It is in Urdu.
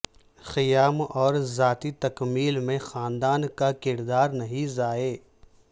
قیام اور ذاتی تکمیل میں خاندان کا کردار نہیں ضائع